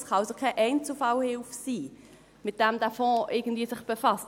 Es kann also keine Einzelfallhilfe sein, mit der der Fonds sich irgendwie befasst.